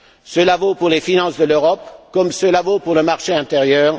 Cela vaut pour les finances de l'Europe, comme cela vaut pour le marché intérieur